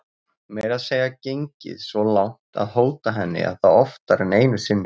Meira að segja gengið svo langt að hóta henni og það oftar en einu sinni.